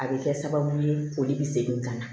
A bɛ kɛ sababu ye foli bɛ segin ka na